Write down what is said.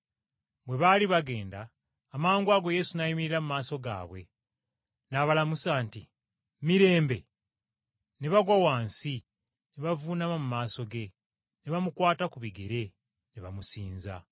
Bwe baali bagenda, amangwago Yesu n’ayimirira mu maaso gaabwe! N’abalamusa nti, “Mirembe?” Ne bagwa wansi ne bavuunama mu maaso ge, ne bamukwata ku bigere ne bamusinza.